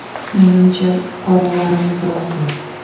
Menimcha, fuqarolarimiz rozi.